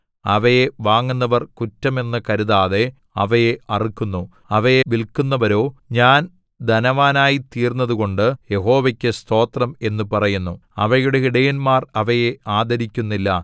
അവയെ വാങ്ങുന്നവർ കുറ്റം എന്ന് കരുതാതെ അവയെ അറുക്കുന്നു അവയെ വില്‍ക്കുന്നവരോ ഞാൻ ധനവാനായിത്തീർന്നതുകൊണ്ടു യഹോവയ്ക്കു സ്തോത്രം എന്നു പറയുന്നു അവയുടെ ഇടയന്മാർ അവയെ ആദരിക്കുന്നില്ല